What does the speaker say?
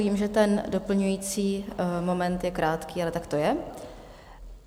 Vím, že ten doplňující moment je krátký, ale tak to je.